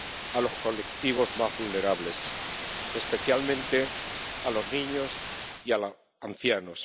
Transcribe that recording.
a los colectivos más vulnerables, especialmente a los niños y a los ancianos.